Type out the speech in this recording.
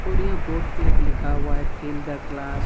और यह बोर्ड पे एक लिखा हुआ है फिल द क्लास ।